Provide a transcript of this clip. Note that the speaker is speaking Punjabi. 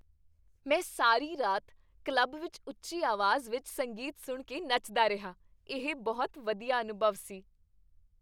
ਮੈਂ ਸਾਰੀ ਰਾਤ ਕਲੱਬ ਵਿੱਚ ਉੱਚੀ ਆਵਾਜ਼ ਵਿੱਚ ਸੰਗੀਤ ਸੁਣ ਕੇ ਨੱਚਦਾ ਰਿਹਾ। ਇਹ ਬਹੁਤ ਵਧੀਆ ਅਨੁਭਵ ਸੀ।